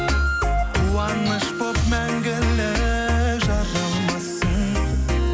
қуаныш болып мәңгілік жаралмассың